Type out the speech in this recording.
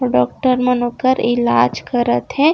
Doctor Manokar इलाज करत हे।